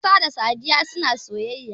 Isa da Sadiya na soyayya.